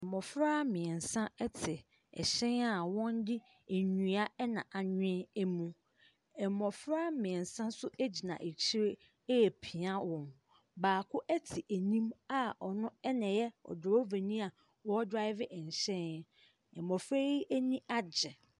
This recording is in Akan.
Mmɔfra mmiɛnsa ɛte ɛhyɛn a wɔnde ɛnua ɛna anwen ɛmu. Ɛmɔfra mmiɛnsa so ɛgyina akyire ɛɛpia wɔn. Baako ɛte enim a ɔne ɛna ɛyɛ ɔdravanii a ɔɔdrave ɛnhyɛn. Mmɔfra yi ani agye.